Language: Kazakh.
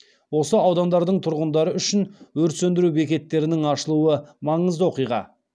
осы аудандардың тұрғындары үшін өрт сөндіру бекеттерінің ашылуы маңызды оқиға